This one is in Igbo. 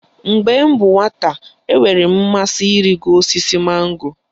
Mgbe m bụ nwata, enwere m mmasị ịrịgo osisi mango